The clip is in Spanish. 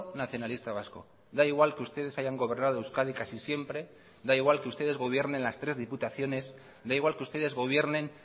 nacionalista vasco da igual que ustedes hayan gobernado euskadi casi siempre da igual que ustedes gobiernen las tres diputaciones da igual que ustedes gobiernen